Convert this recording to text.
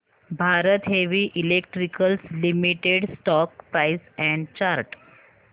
Bharat Heavy Electricals Limited stock price and chart